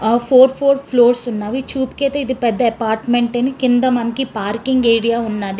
ఆహ్ four four floors ఉన్నవి చుపికైతే ఇది పెద్ద అపార్ట్మెంట్ కింద మనకి పార్కింగ్ ఏరియా ఉన్నది.